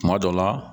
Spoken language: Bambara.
Kuma dɔ la